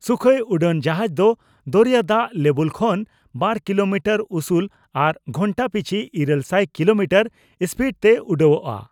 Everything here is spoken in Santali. ᱥᱩᱠᱷᱚᱭ ᱩᱰᱟᱹᱱ ᱡᱟᱦᱟᱡᱽ ᱫᱚ ᱫᱚᱨᱮᱭᱟ ᱫᱟᱜ ᱞᱮᱵᱩᱞ ᱠᱷᱚᱱ ᱵᱟᱨ ᱠᱤᱞᱚᱢᱤᱴᱟᱨ ᱩᱥᱩᱞ ᱟᱨ ᱜᱷᱚᱱᱴᱟ ᱯᱤᱪᱷ ᱤᱨᱟᱹᱞ ᱥᱟᱭ ᱠᱤᱞᱚᱢᱤᱴᱟᱨ ᱥᱯᱤᱰ ᱛᱮ ᱩᱰᱟᱹᱣᱜᱼᱟ ᱾